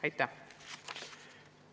Aitäh!